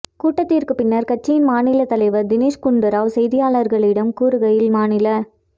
கூட்டத்திற்கு பின்னர் கட்சியின் மாநில தலைவர் திணேஷ்குண்டுராவ் செய்தியாளர்களிடம் கூறுகையில் மாநில